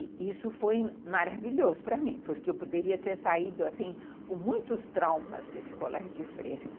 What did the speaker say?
E isso foi maravilhoso para mim, porque eu poderia ter saído assim, com muitos traumas desse colégio de freira.